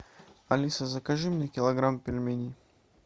алиса закажи мне килограмм пельменей